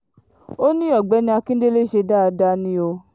ó ní ọ̀gbẹ́ni akíndélé ṣe dáadáa ni o